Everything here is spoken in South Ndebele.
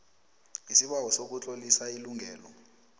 isibawo sokutlolisa ilungelo